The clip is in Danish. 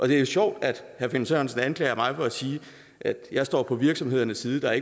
det er jo sjovt at herre finn sørensen anklager mig for at sige at jeg står på virksomhedernes side der